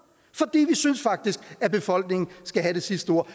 vi synes faktisk at befolkningen skal have det sidste ord